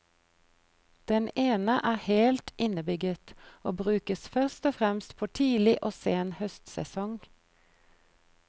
Den ene er helt innebygget og brukes først og fremst på tidlig og sen høstsesong.